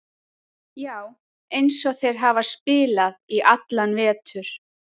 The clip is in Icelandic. Já, eins og þeir hafa spilað í allan vetur.